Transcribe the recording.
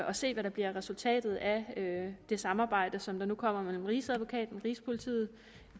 at se hvad der bliver resultatet af det samarbejde som der nu kommer mellem rigsadvokaten rigspolitiet